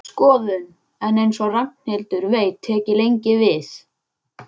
Skoðun, en eins og Ragnhildur veit tek ég lengi við.